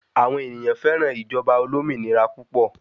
Àwọn ènìyàn féràn ìjọba olómìnira púpọ̀